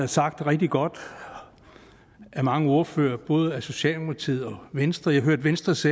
sagt rigtig godt af mange ordførere både fra socialdemokratiet og venstre jeg hørte venstres